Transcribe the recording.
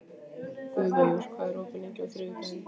Guðveigur, hvað er opið lengi á þriðjudaginn?